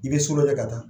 I bɛ so dɔ lajɛ ka taa